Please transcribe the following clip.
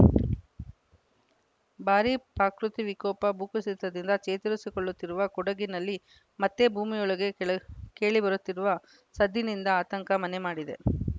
ಭಾರೀ ಪಾಕೃತಿ ವಿಕೋಪ ಭೂಕುಸಿತದಿಂದ ಚೇತರಿಸಿಕೊಳ್ಳುತ್ತಿರುವ ಕೊಡಗಿನಲ್ಲಿ ಮತ್ತೆ ಭೂಮಿಯೊಳಗೆ ಕೆಳೆ ಕೇಳಿಬರುತ್ತಿರುವ ಸದ್ದಿನಿಂದ ಆತಂಕ ಮನೆ ಮಾಡಿದೆ